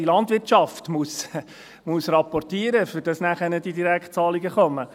Jede Landwirtschaft muss rapportieren, damit nachher die Direktzahlungen kommen.